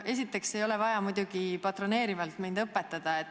Esiteks, mind ei ole vaja patroneerivalt õpetada.